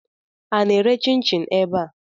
A na-ere chin-chin ebe a?